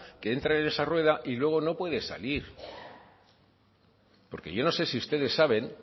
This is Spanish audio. que entra en esa rueda y luego no puede salir porque yo no sé si ustedes saben